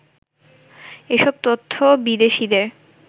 এসব তথ্য বিদেশীদের